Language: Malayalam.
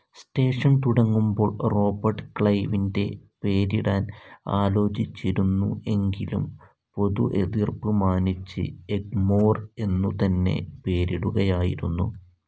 സ്റ്റേഷൻ തുടങ്ങുമ്പോൾ റോബർട്ട് ക്ലൈവിൻ്റെ പേരിടാൻ ആലോചിച്ചിരുന്നു എങ്കിലും പൊതു എതിർപ്പ് മാനിച്ച് എഗ്‌മോർ എന്നു തന്നെ പേരിടുകയായിരുന്നു.